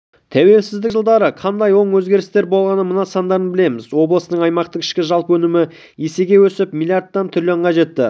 тәуелсіздік жылдары қандай оң өзгерістер болғанын мына сандардан білеміз облыстың аймақтық ішкі жалпы өнімі есеге өсіп млрд-тан трлн-ға жетті